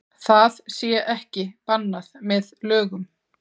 Það sé ekki bannað með lögum